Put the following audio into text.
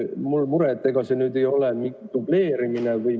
Mul on mure, et ega see nüüd ei ole mingi dubleerimine.